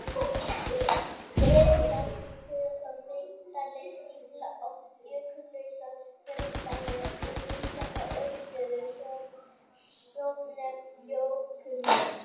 Skriðjöklar sem skríða fram megindali stífla oft jökullausa þverdali og mynda þar uppistöður, svonefnd jökullón.